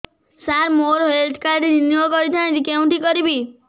ସାର ମୋର health card renew କରିଥାନ୍ତି କେଉଁଠି କରିବି